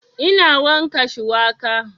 Ina yanka shuwaka